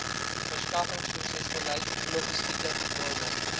verskaffingsprosesbeleid logistieke norme